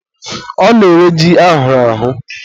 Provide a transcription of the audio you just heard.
ọ na-ere ji ahụrụ ahụ